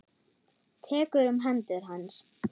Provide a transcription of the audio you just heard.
Tekur um hendur hans.